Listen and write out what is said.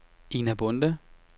Ina Bonde